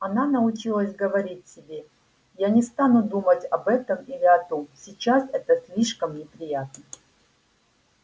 она научилась говорить себе я не стану думать об этом или о том сейчас это слишком неприятно